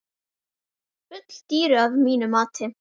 Full dýru að mínu mati.